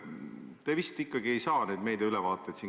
Te vist ikkagi ei saa korralikke meediaülevaateid.